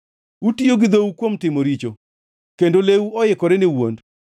Utiyo gi dhou kuom timo richo kendo lewu oikore ne wuond.